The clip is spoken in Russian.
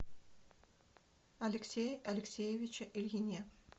алексее алексеевиче ильине